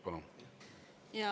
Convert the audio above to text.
Palun!